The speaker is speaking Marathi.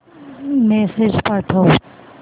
मेसेज पाठव